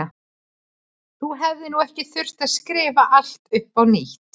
Þú hefðir nú ekki þurft að skrifa allt upp á nýtt.